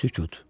Sükut.